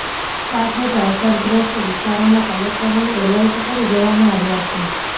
સાથે જ અસરગ્રસ્ત વિસ્તારોના કલેક્ટરોને એલર્ટ કરી દેવામાં આવ્યા છે